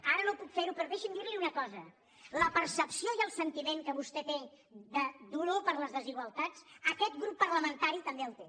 ara no puc fer·ho però deixi’m dir·li una cosa la percepció i el sentiment que vostè té de dolor per les desigualtats aquest grup parlamentari també el té